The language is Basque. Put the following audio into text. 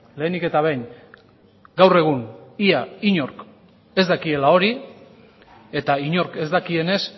lehenik eta behin gaur egun ia inork ez dakiela hori eta inork ez dakienez